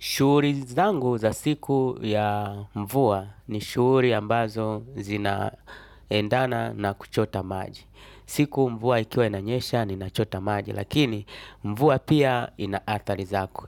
Shughuli zangu za siku ya mvua ni shughuli ambazo zinaendana na kuchota maji. Siku mvua ikiwa inanyesha ninachota maji lakini mvua pia ina athali zake.